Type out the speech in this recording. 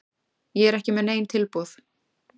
Ég er ekki með nein tilboð.